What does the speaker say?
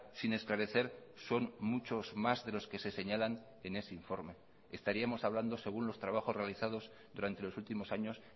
sin esclarecer son muchos más de los que se señalan en ese informe estaríamos hablando según los trabajos realizados durante los últimos años